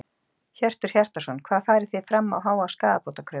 Hjörtur Hjartarson: Hvað farið þið fram á háa skaðabótakröfu?